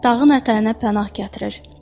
Dağın ətəyinə pənah gətirir.